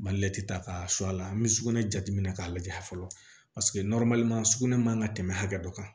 ta k'a la an bɛ sugunɛ jate minɛ k'a lajɛ fɔlɔ paseke sugunɛ man kan ka tɛmɛ hakɛ dɔ kan